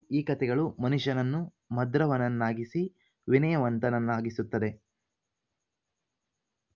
ಈ ಕಥೆಗಳು ಮನುಷ್ಯನನ್ನು ಮಧೃವನನ್ನಾಗಿಸಿ ವಿನಯವಂತನನ್ನಾಗಿಸುತ್ತದೆ